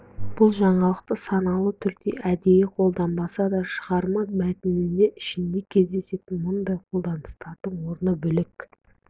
бұл жаңалықты саналы түрде әдейі қолданбаса да шығарма мәтіні ішінде кездесетін мұндай қолданыстардың орны бөлек